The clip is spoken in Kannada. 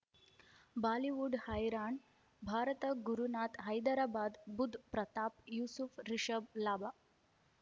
ಬಾಲಿವುಡ್ ಹೈರಾಣ್ ಭಾರತ ಗುರುನಾಥ ಹೈದರಾಬಾದ್ ಬುಧ್ ಪ್ರತಾಪ್ ಯೂಸುಫ್ ರಿಷಬ್ ಲಾಭ